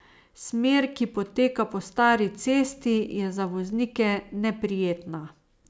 Smer, ki poteka po stari cesti, je za voznike neprijetna.